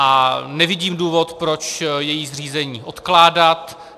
A nevidím důvod, proč její zřízení odkládat.